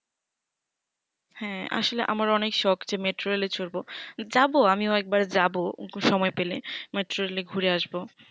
হ্যা আসলে আমার ও অনকে শক যে metrol এ চড়বো যাবো আমিও একবার যাবো সময় পেলে metrol ঘুরে আসবো